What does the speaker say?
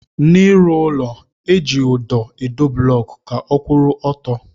N'ịrụ ụlọ, eji ụdọ edo blọọkụ ka ọ kwụrụ ọtọ